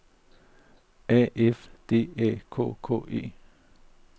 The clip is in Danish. A F D Æ K K E